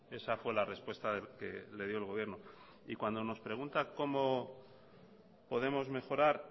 esa fue la respuesta que le dio el gobierno y cuando nos pregunta cómo podemos mejorar